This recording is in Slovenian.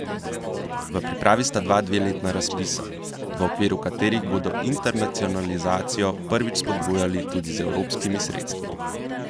V pripravi sta dva dveletna razpisa, v okviru katerih bodo internacionalizacijo prvič spodbujali tudi z evropskimi sredstvi.